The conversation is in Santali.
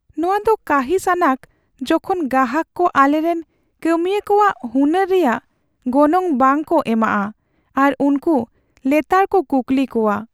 ᱱᱚᱶᱟ ᱫᱚ ᱠᱟᱺᱦᱤᱥᱼᱟᱱᱟᱜ ᱡᱚᱠᱷᱚᱱ ᱜᱟᱦᱟᱠ ᱠᱚ ᱟᱞᱮᱨᱮᱱ ᱠᱟᱹᱢᱤᱭᱟᱹ ᱠᱚᱣᱟᱜ ᱦᱩᱱᱟᱹᱨ ᱨᱮᱭᱟᱜ ᱜᱚᱱᱚᱝ ᱵᱟᱝᱠᱚ ᱮᱢᱟᱜᱼᱟ ᱟᱨ ᱩᱱᱠᱩ ᱞᱮᱛᱟᱲ ᱠᱚ ᱠᱩᱠᱞᱤ ᱠᱚᱣᱟ ᱾